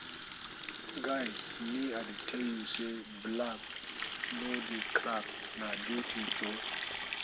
guy me i dey tell you say black no dey crack na beauty jhor